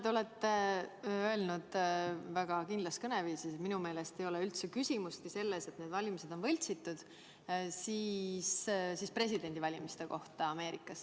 Te olete on öelnud kindlas kõneviisis presidendivalimiste kohta Ameerikas, et teie meelest ei ole üldse küsimustki selles, et need valimised on võltsitud.